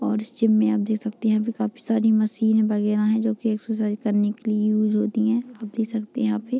और इस जिम में आप देख सकते है अभी काफी सारी मशीने वैगरह है जो एक्सरसाइज करने के लिए वो जो दिए है आप देख सकते है यहाँ पे।